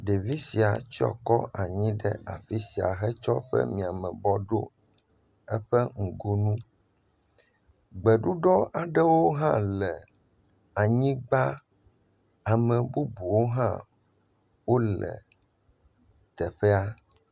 Ɖevia sia tsɔ kɔ anyi ɖe afi sia hetsɔ eƒe miamebɔ ɖo eƒe nugonu. Gbeɖuɖɔ aɖewo hã le anyigba. Ame bubuwo hã wo le teƒea.